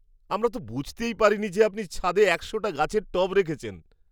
আমরা তো বুঝতেই পারিনি যে আপনি ছাদে একশোটা গাছের টব রেখেছেন!